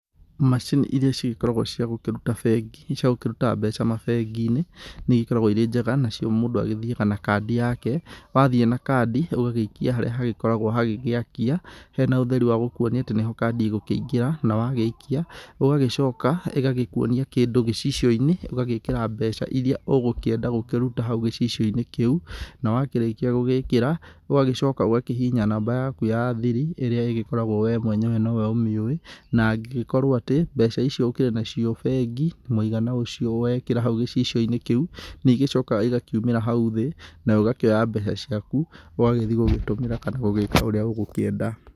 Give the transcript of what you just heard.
Macini iria cigĩkoragwo ciagũkĩruta bengi ciagũkĩruta mbeca mabengi-inĩ nĩ igĩkoragwo irĩ njega nacio mũndũ agĩthiaga na kandi yake. wathiĩ na kandi ũgagĩikia harĩa hagĩkoragwo hagĩgĩakia hena ũtheri wa gũkuonia atĩ nĩho kandi ĩgũkĩingĩra, na wagĩikia ũgagĩcoka ĩgagĩkuonia kĩndũ gĩcicio-inĩ ũgagĩkĩra mbeca iria ũgũkienda gũkĩruta hau gĩcicio-inĩ kĩu. Na wakĩrĩkia gũgĩkĩra ũgagĩcoka ũkahihinya namba yaku ya thiri ĩrĩa ĩgĩkoragwo we mwenyewe nĩ we ũmĩũĩ. Na angĩgĩkorũo atĩ mbeca icio ũkĩrĩ nacio bengi mũigana ũcio wekĩra hau gicicio-inĩ kĩu nĩ igĩcokaga igakiumĩra hau thĩ na ũgakĩoya mbeca ciaku ũgagĩthiĩ gũgĩtũmĩra kana ũgeka ũrĩa ũgũkienda.